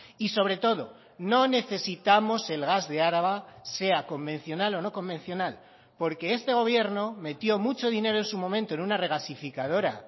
y sobre todo no necesitamos el gas de araba sea convencional o no convencional porque este gobierno metió mucho dinero en su momento en una regasificadora